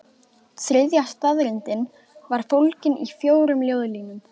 Þriðja staðreyndin var fólgin í fjórum ljóðlínum